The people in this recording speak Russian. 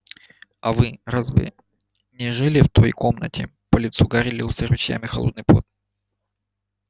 а вы вы разве не жили в той комнате по лицу гарри лился ручьями холодный пот